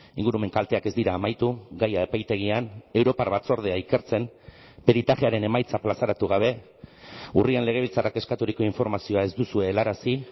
ingurumen kalteak ez dira amaitu gaia epaitegian europar batzordea ikertzen peritajearen emaitza plazaratu gabe urrian legebiltzarrak eskaturiko informazioa ez duzue helarazi